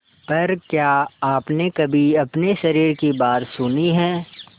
पर क्या आपने कभी अपने शरीर की बात सुनी है